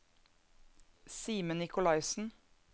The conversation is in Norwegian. Simen Nicolaisen